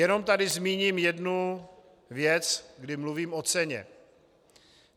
Jenom tady zmíním jednu věc, kdy mluvím o ceně.